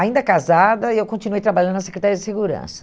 Ainda casada, eu continuei trabalhando na Secretaria de Segurança.